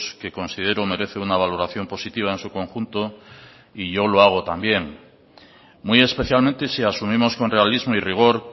que considero merece una valoración positiva en su conjunto y yo lo hago también muy especialmente si asumimos con realismo y rigor